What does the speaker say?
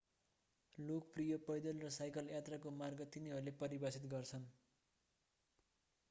लोकप्रिय पैदल र साइकल यात्राको मार्ग तिनीहरूले परिभाषित गर्छन्